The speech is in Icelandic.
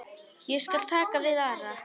Ég skal taka við Ara.